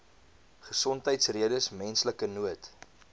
gesondheidsredes menslike nood